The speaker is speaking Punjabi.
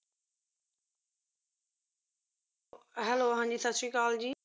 hello ਹਾਂ ਜੀ ਸਤਿ ਸ੍ਰੀ ਅਕਾਲ ਜੀ,